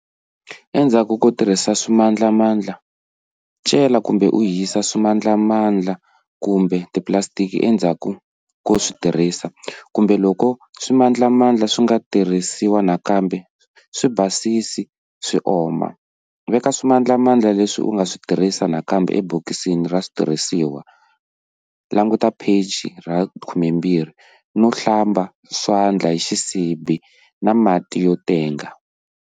Endzaku ko tirhisa swimandlamandla-cela kumbe u hisa swimandlamandla kumbe tipulasitiki endzhaku ko swi tirhisa, kumbe, loko swimandlamandla swi nga tirhisiwa nakambe, swi basisi kutani swi oma, veka swimandlamandla leswi u nga swi tirhisaka nakambe ebokisini ra switirhisiwa, languta pheji 12, no hlamba swandla hi xisibi na mati yo tenga.